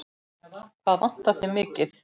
Hvað vantar þig mikið?